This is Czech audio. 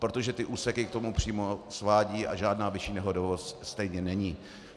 Protože ty úseky k tomu přímo svádějí a žádná vyšší nehodovost stejně není.